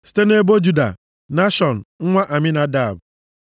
site nʼebo Juda, Nashọn nwa Aminadab,